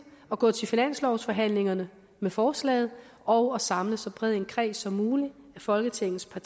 at gå til finanslovsforhandlingerne med forslaget og at samle så bred en kreds som muligt af folketingets